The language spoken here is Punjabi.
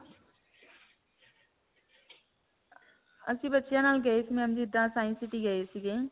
ਅਸੀਂ ਬੱਚਿਆਂ ਨਾਲ ਗਏ ਸੀ ma'am ਜਿੱਦਾਂ science city ਗਏ ਸੀਗੇ.